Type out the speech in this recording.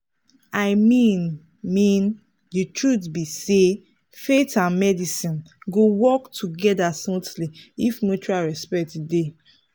i mean mean the truth be sayfaith and medicine go work together smoothly if mutual respect dey.